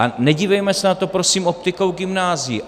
A nedívejme se na to, prosím, optikou gymnázií!